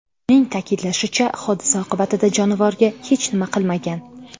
Uning ta’kidlashicha, hodisa oqibatida jonivorga hech nima qilmagan.